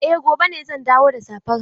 Eh, gobe ne zan dawo da safar hannun.